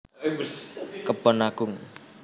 Kebon Agung